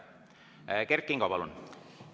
Kert Kingo, palun!